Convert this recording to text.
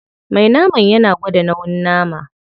Me naman yana gwada nauyin nama.